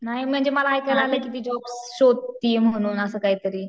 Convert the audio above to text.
नाही म्हणजे मला ऐकायला आलय कि ती जॉब शोधतीये म्हणून असं काहीतरी.